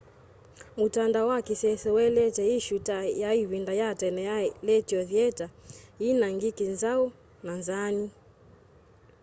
mutandao wa kisese ueleetye i shoo ta ya ivinda ya tene ya letio thieta yina ngiki nzau na nzaanu